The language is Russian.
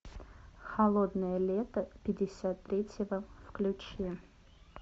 холодное лето пятьдесят третьего включи